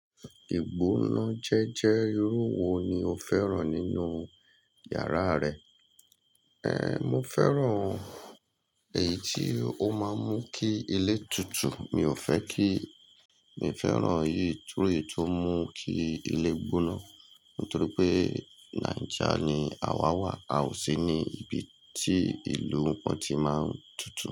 Ìgbó ná jẹ́jẹ́ irú wo ló fẹ́ràn nínú yàrá rẹ. Ehn, mo fẹ́ràn èyí tí ó máa ń mú kí ilé tutù. Mi ò fẹ́ kí, mi fẹ́ràn yìí torí tó mú kí ilé gbóná. Nítorí pé Naija ni à wa wà, a ò sí ní ibi tí ìlú kan ti máa ń tutù.